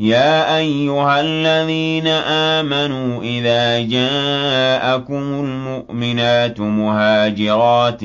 يَا أَيُّهَا الَّذِينَ آمَنُوا إِذَا جَاءَكُمُ الْمُؤْمِنَاتُ مُهَاجِرَاتٍ